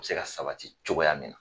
Be se ka sabati cogoya min na